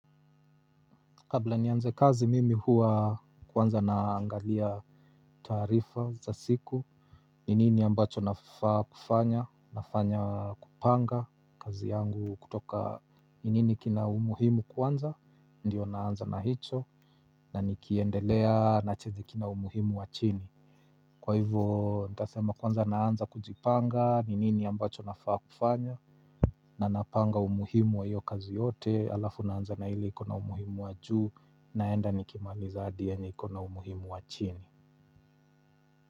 Kabla nianze kazi mimi hua kwanza naangalia taarifa za siku ninini ambacho nafaa kufanya, nafanya kupanga kazi yangu kutoka ninini kina umuhimu kwanza, ndio naanza na hicho na nikiendelea na chizi kina umuhimu wa chini kwa hivo nitasema kwanza naanza kujipanga, ninini ambacho nafaa kufanya na napanga umuhimu wa hiyo kazi yote halafu naanza na ile iko na umuhimu wa juu naenda nikimaliza hadi yenye iko na umuhimu wa chini.